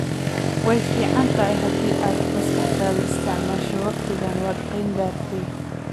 Way fiican tahay haddii aad maskaxdaada isticmaasho wakhtigan waad qeeyn gartaay